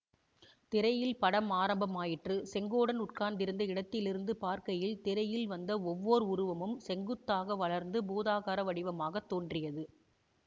திரையில் படம் ஆரம்பமாயிற்று செங்கோடன் உட்கார்ந்திருந்த இடத்திலிருந்து பார்க்கையில் திரையில் வந்த ஒவ்வோர் உருவமும் செங்குத்தாக வளர்ந்து பூதாகார வடிவமாகத் தோன்றியது